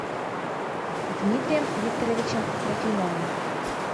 дмитрием викторовичем трофимовым